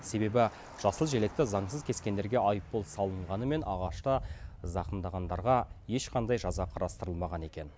себебі жасыл желекті заңсыз кескендерге айыппұл салынғанымен ағашты зақымдағандарға ешқандай жаза қарастырылмаған екен